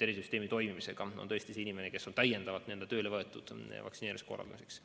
tervisesüsteemi toimimisega, on tõesti see inimene, kes on täiendavalt tööle võetud vaktsineerimise korraldamiseks.